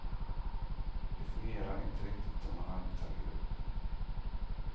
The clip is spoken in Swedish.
Det fungerar inte riktigt då man arbetar i grupp.